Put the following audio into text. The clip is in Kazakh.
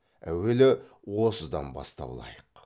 әуелі осыдан бастау лайық